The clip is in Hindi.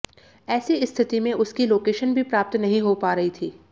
ऐसी स्थिति में उसकी लोकेशन भी प्राप्त नहीं हो पा रही थी